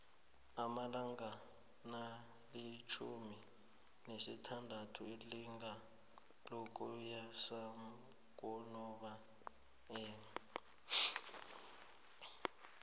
amalanga nakalifjhumi nasithandathu lilanga lokubuyisanakunobayeni